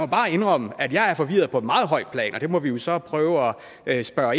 bare indrømme at jeg er forvirret på et meget højt plan og det må vi jo så prøve at spørge